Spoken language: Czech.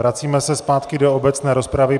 Vracíme se zpátky do obecné rozpravy.